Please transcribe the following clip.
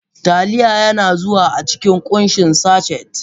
Taliya yana zuwa a cikin kunshin sachet.